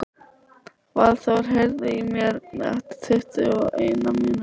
Valþór, heyrðu í mér eftir tuttugu og eina mínútur.